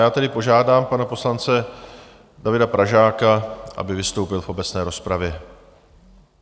Já tedy požádám pana poslance Davida Pražáka, aby vystoupil v obecné rozpravě.